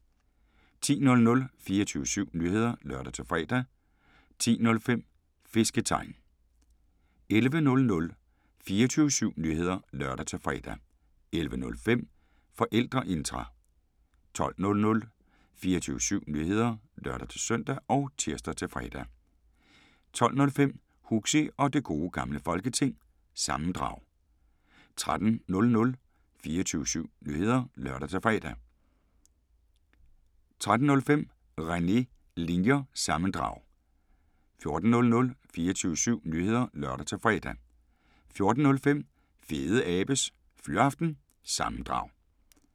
10:00: 24syv Nyheder (lør-fre) 10:05: Fisketegn 11:00: 24syv Nyheder (lør-fre) 11:05: Forældreintra 12:00: 24syv Nyheder (lør-søn og tir-fre) 12:05: Huxi og det Gode Gamle Folketing – sammendrag 13:00: 24syv Nyheder (lør-fre) 13:05: René Linjer- sammendrag 14:00: 24syv Nyheder (lør-fre) 14:05: Fedeabes Fyraften – sammendrag